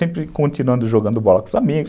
Sempre continuando jogando bola com os amigos.